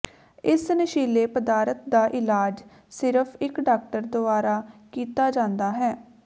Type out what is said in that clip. ਇਸ ਨਸ਼ੀਲੇ ਪਦਾਰਥ ਦਾ ਇਲਾਜ ਸਿਰਫ ਇਕ ਡਾਕਟਰ ਦੁਆਰਾ ਕੀਤਾ ਜਾਂਦਾ ਹੈ